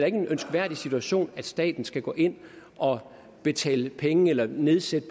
ikke en ønskværdig situation at staten skal gå ind og betale penge eller nedsætte